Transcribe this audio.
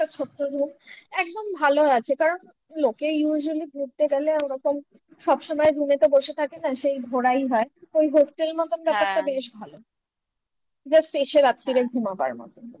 ছোট্ট room একদম ভালো আছে কারণ লোকে usually ঘুরতে গেলে ওরকম সবসময় room এ তো বসে থাকে না সেই ঘোরাই হয় ওই hostel হ্যাঁ মতন ব্যাপারটা বেশ ভালো just এসে রাত্রিরে ঘুমাবার মতন